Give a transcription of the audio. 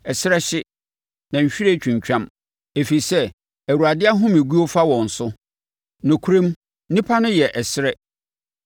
Ɛserɛ hye, na nhwiren twintwam ɛfiri sɛ Awurade ahomeguo fa wɔn so. Nokorɛm nnipa no yɛ ɛserɛ.